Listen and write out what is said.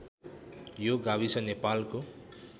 यो गाविस नेपालको